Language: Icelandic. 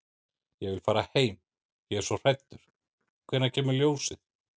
Ég vil fara heim. ég er svo hræddur. hvenær kemur ljósið?